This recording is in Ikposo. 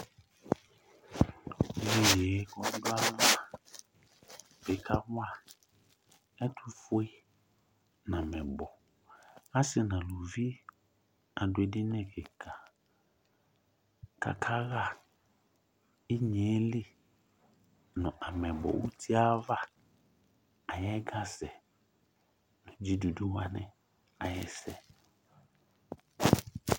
Tʋ iye kʋ ɔdʋ ayava ɔkawa ɛtʋfue nʋ amɛyibɔ Asi nʋ alʋvi adʋ edini kika kakaɣa inyeli nʋ amɛyibɔ ayu uti e ava ayɛga sɛ nʋ dzidudu wani ayɛsɛ